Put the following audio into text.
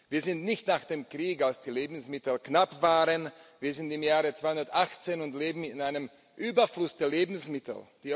Wir sind nicht nach dem Krieg, als die Lebensmittel knapp waren, wir sind im Jahre 2018 und leben in einem Überfluss der Lebensmittel.